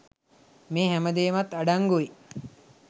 මේ හැම දේමත් අඩංගුයි.